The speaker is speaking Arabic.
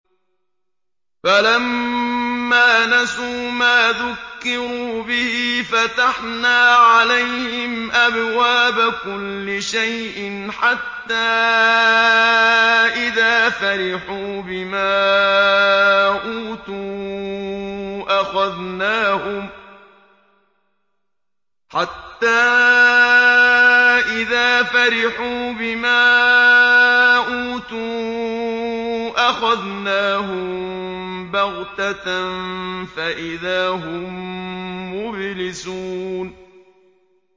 فَلَمَّا نَسُوا مَا ذُكِّرُوا بِهِ فَتَحْنَا عَلَيْهِمْ أَبْوَابَ كُلِّ شَيْءٍ حَتَّىٰ إِذَا فَرِحُوا بِمَا أُوتُوا أَخَذْنَاهُم بَغْتَةً فَإِذَا هُم مُّبْلِسُونَ